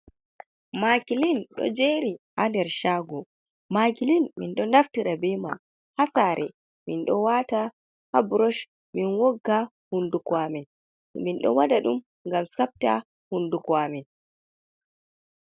Maakilin ɗo jeeri haa nder caago, maakilin, min ɗo naftira bee man haa saare, min ɗo waata haa burosh, min wogga hunnduko amin, min ɗo waɗa ɗum ngam saɓta hunnduko amin.